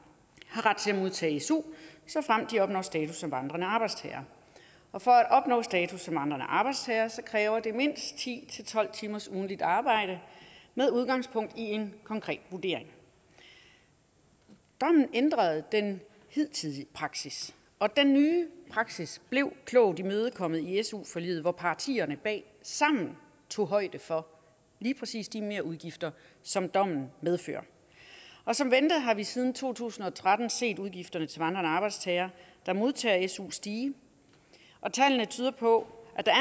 har ret til at modtage su såfremt de opnår status som vandrende arbejdstagere og for at opnå status som vandrende arbejdstager kræver det mindst ti til tolv timers ugentligt arbejde med udgangspunkt i en konkret vurdering dommen ændrede den hidtidige praksis og den nye praksis blev klogt imødekommet i su forliget hvor partierne bag sammen tog højde for lige præcis de merudgifter som dommen medfører og som ventet har vi siden to tusind og tretten set udgifterne til vandrende arbejdstagere der modtager su stige og tallene tyder på at der